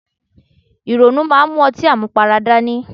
Ìrònú máa ń mú ọtí àmupara dání.